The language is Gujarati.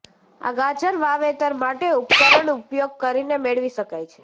આ ગાજર વાવેતર માટે ઉપકરણ ઉપયોગ કરીને મેળવી શકાય છે